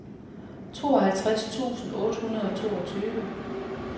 tooghalvtreds tusind otte hundrede og toogtyve